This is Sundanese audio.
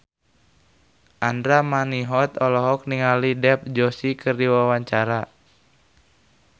Andra Manihot olohok ningali Dev Joshi keur diwawancara